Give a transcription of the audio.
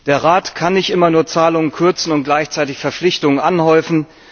Der Rat kann nicht immer nur Zahlungen kürzen und gleichzeitig Verpflichtungen anhäufen.